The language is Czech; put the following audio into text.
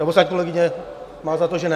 Nebo snad kolegyně má za to, že ne?